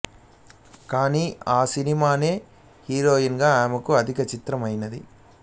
కానీ ఆ సినిమానే హీరోయిన్ గా ఆమెకు ఆఖరి చిత్రం అయినది